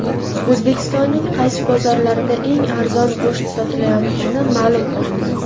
O‘zbekistonning qaysi bozorlarida eng arzon go‘sht sotilayotgani ma’lum qilindi.